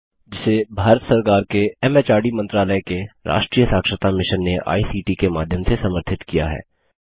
जिसे भारत सरकार के एमएचआरडी मंत्रालय के राष्ट्रीय साक्षरता मिशन ने आई सीटी के माध्यम से समर्थित किया है